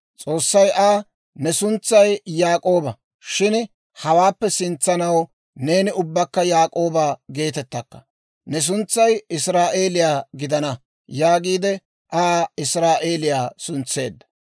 S'oossay Aa, «Ne suntsay Yaak'ooba; shin hawaappe sintsanaw neeni ubbakka Yaak'ooba geetettakka; ne suntsay israa'eeliyaa gidana» yaagiide I Aa israa'eeliyaa suntseedda.